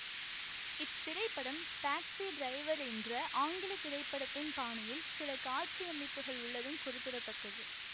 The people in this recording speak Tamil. இத்திரைப்படம் டாக்ஸி டிரைவர் என்ற ஆங்கில திரைப்படத்தின் பாணியில் சில காட்சியமைப்புகள் உள்ளதும் குறிப்பிட தக்கது